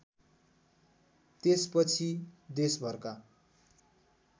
त्यसपछि देशभरका